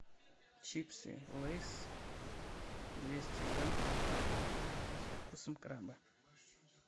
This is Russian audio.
чипсы лейс двести грамм со вкусом краба